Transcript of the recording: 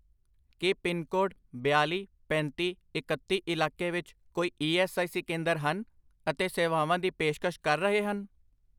ਕੀ pincode ਬਿਆਲੀ, ਪੈਂਤੀ, ਇਕੱਤੀ ਇਲਾਕੇ ਵਿੱਚ ਕੋਈ ਈ ਐੱਸ ਆਈ ਸੀ ਕੇਂਦਰ ਹਨ ਅਤੇ ਸੇਵਾਵਾਂ ਦੀ ਪੇਸ਼ਕਸ਼ ਕਰ ਰਹੇ ਹਨ?